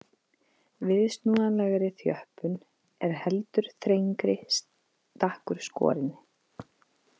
Viðsnúanlegri þjöppun er heldur þrengri stakkur skorinn.